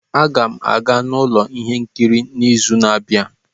A ga m aga n'ụlọ ihe nkiri n'izu na-abịa